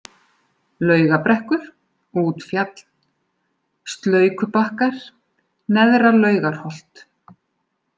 Laugabrekkur, Útfjall, Slaukubakkar, Neðra-Laugarholt